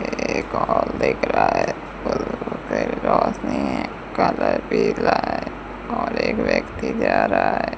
एक और दिख रहा है और और एक व्यक्ति जा रहा है।